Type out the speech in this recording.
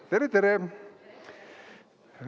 Oi, tere-tere!